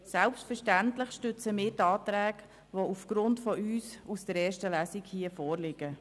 Selbstverständlich stützen wir die Anträge, die hier aufgrund eines Antrags von uns aus der ersten Lesung vorliegen.